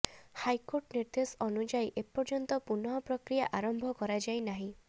high court ନିର୍ଦ୍ଦେଶ ଅନୁଯାୟୀ ଏପର୍ଯ୍ୟନ୍ତ ପୁନଃ ପ୍ରକ୍ରିୟା ଆରମ୍ଭ କରାଯାଇ ନାହିଁ